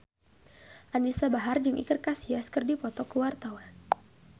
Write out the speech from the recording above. Anisa Bahar jeung Iker Casillas keur dipoto ku wartawan